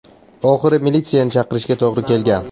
Oxiri militsiyani chaqirishga to‘g‘ri kelgan.